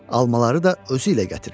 Almaları da özü ilə gətirib.